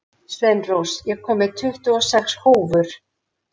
Sveinrós, ég kom með tuttugu og sex húfur!